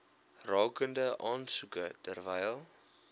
rakende aansoeke terwyl